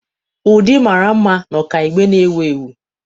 Ụdị mara mma na ọkaibe na-ewu ewu.